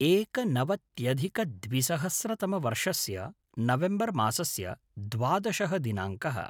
एकनवत्यधिकद्विसहस्रतमवर्षस्य November मासस्य द्वादशः दिनाङ्कः